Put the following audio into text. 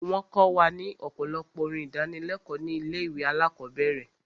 Wọ́n kọ wa ní ọ̀pọ̀lọpọ̀ orin ìdánilékòó ní ilé ìwé alákọ̀berẹ̀.